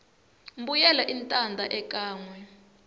mbuyelo i tanda ekanwe